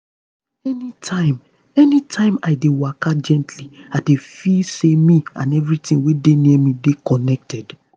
anytime anytime i dey waka gently i dey feel say me and everything wey dey near me dey connected.